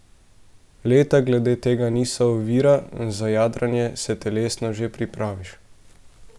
Leta glede tega niso ovira, za jadranje se telesno že pripraviš.